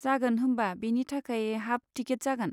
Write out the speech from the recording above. जागोन, होमबा बेनि थाखाय हाफ टिकिट जागोन।